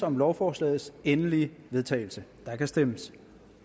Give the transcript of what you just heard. om lovforslagets endelige vedtagelse der kan stemmes